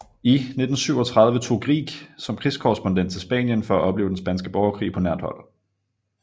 I 1937 tog Grieg som krigskorrespondent til Spanien for at opleve den spanske borgerkrig på nært hold